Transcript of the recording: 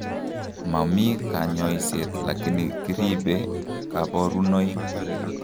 Momi kanyoiseet lakini kiribee kaborunoik